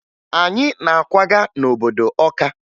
Anyị na-akwaga n'obodo Ọka